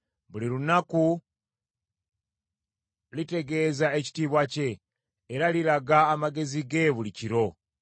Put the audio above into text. Buli lunaku litegeeza ekitiibwa kye, era liraga amagezi ge buli kiro.